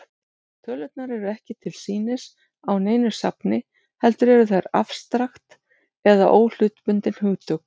Tölurnar eru ekki til sýnis á neinu safni, heldur eru þær afstrakt eða óhlutbundin hugtök.